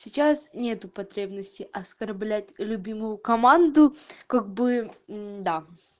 сейчас нету потребности оскорблять любимую команду как бы да